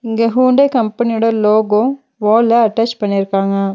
இங்க ஹூண்டாய் கம்பெனியோட லோகோ வால்ல அட்டாச் பண்ணிருக்காங்க.